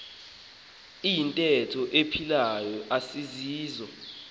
iyintetho ephilayo asisiso